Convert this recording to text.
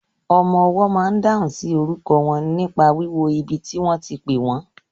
Ọmọwọ́ ma n dáhùn sí orúkọ wọn nípa wíwo ibi tí wọ́n ti pẹ́ wọ́n.